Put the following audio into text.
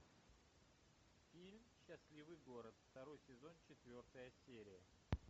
фильм счастливый город второй сезон четвертая серия